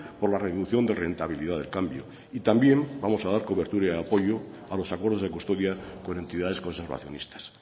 por la reducción de rentabilidad del cambio y también vamos a dar cobertura de apoyo a los acuerdos de custodia con entidades conservacionistas